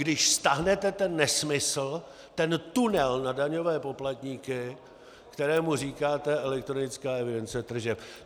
Když stáhnete ten nesmysl, ten tunel na daňové poplatníky, kterému říkáte elektronická evidence tržeb.